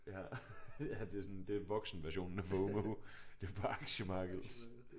Ja ja det er sådan det er voksenversionen af FOMO det er bare aktiemarkedet